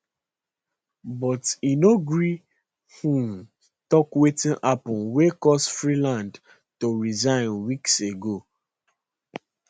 but e no gree um tok wetin happun wey cause freeland to resign weeks ago